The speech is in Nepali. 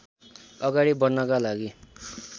अगाडि बढ्नका लागि